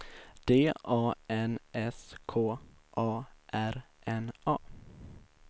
D A N S K A R N A